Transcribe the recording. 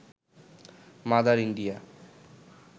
mother India